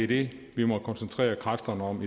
det vi må koncentrere kræfterne om